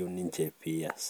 oleng'.